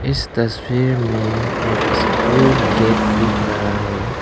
इस तस्वीर में एक स्कूल गेट दिख रहा है।